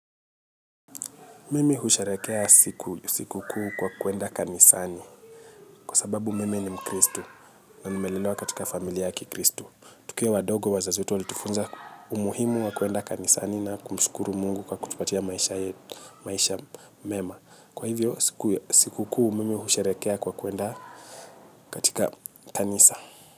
Mimi husharehekea siku kuu kwa kwenda kanisani kwa sababu mimi ni mkristu na nimelelewa katika familiya ya kikristu. Tukiwa wadogo wazazi wetu walitufunza umuhimu wa kwenda kanisani na kumshukuru Mungu kwa kutupatia maisha mema. Kwa hivyo siku kuu kwa mimi husherekeya kwa kwenda katika kanisa.